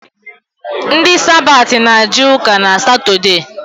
Ndi Sabati na-eje ụka n’Satọdee